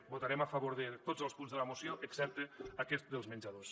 votarem a favor de tots els punts de la moció excepte aquest dels menjadors